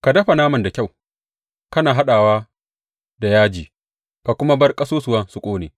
Ka dafa naman da kyau, kana haɗawa da yaji; ka kuma bar ƙasusuwan su ƙone.